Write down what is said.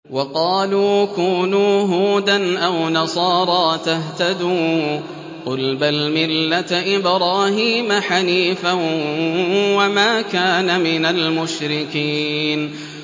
وَقَالُوا كُونُوا هُودًا أَوْ نَصَارَىٰ تَهْتَدُوا ۗ قُلْ بَلْ مِلَّةَ إِبْرَاهِيمَ حَنِيفًا ۖ وَمَا كَانَ مِنَ الْمُشْرِكِينَ